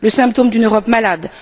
Le symptôme d'une Europe malade.